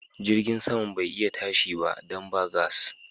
Jirgin saman bai iya tashi ba dan ba gas.